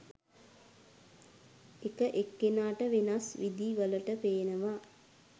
එක එක්කෙනාට වෙනස් විදි වලට පේනවා.